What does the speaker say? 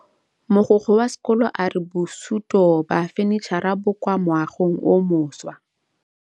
Mogokgo wa sekolo a re bosutô ba fanitšhara bo kwa moagong o mošwa.